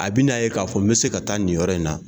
A bɛ n'a ye k'a fɔ n bɛ se ka taa nin yɔrɔ in na